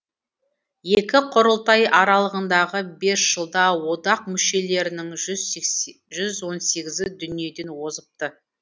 екі құрылтай аралығындағы бес жылда одақ мүшелерінің жүз он сегізі дүниеден озыпты